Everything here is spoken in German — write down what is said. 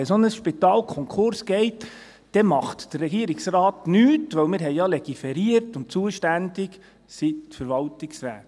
Wenn ein solches Spital Konkurs geht, dann macht der Regierungsrat nichts, denn wir haben ja legiferiert und zuständig sind die Verwaltungsräte?